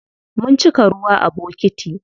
Mun cika ruwa a bokiti.